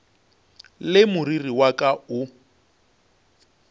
le moriri wa ka o